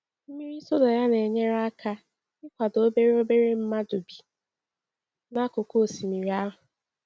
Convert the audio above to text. Mmiri soda ya na-enyere aka ịkwado obere obere mmadụ bi n’akụkụ osimiri ahụ.